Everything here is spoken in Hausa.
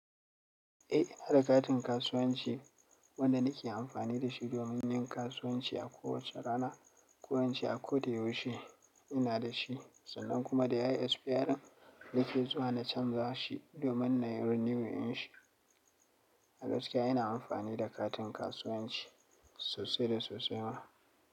Eh ina da katin kasuwanci wanda nake amfani da shi domin yin kasuwanci a kowace rana, koince a ko da yaushe ina da shi sannan kuma da yayi expayarin nake zuwa na canza shi domin nai renew ɗin shi. A gaskiya ina amfani da katin kasuwanci sosai da sosai ma.